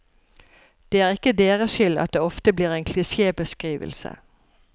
Det er ikke deres skyld at det ofte blir en klisjébeskrivelse.